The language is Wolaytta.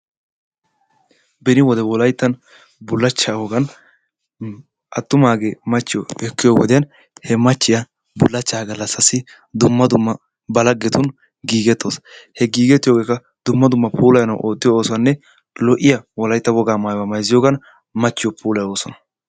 Beni wode wolayttan bullacha wogaan attumage machchiyo ekkiyo wodiyan he machchiya bullacha gallasasi dumma dumma ba laggetun gigetawus. He gigetiyoge qa dumma dumma puulaayanwu oottiyo oosonne lo'iyaa wolaytta wogaa maayzziyogan machchiyo puulaayosona.